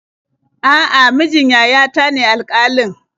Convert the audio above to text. A'a, mijin yayata ne alƙalin.